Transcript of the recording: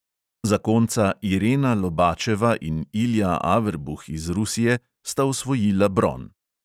Zakonca irena lobačeva in ilja averbuh iz rusije sta osvojila bron.